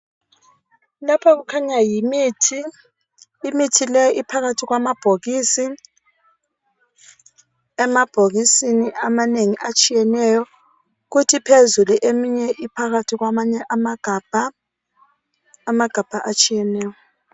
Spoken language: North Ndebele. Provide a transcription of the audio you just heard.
Lapha kukhanya yimithi. lmithi leyi iphakathi kwamabhokisi amanengi atshiyeneyo kuthi phezulu eminye iphakathi kwamanye amagabha atshiyeneyo.